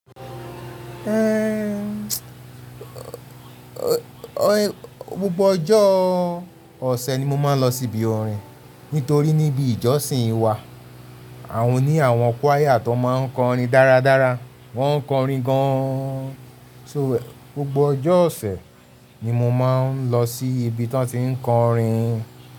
Ehn, gbogbo ọjọ́ ọ̀sẹ̀ ni mo máa ń lọ sí ibi orin. Nítorí níbi ìjọsìn wa, àwọn ní àwọn choir tó máa n kọrin dáradára. Wọ́n kọrin gan. Só wè, gbogbo ọjọ́ ọ̀sẹ̀ ni mo máa ń lọ sí ibi tí wọ́n ti n kọrin.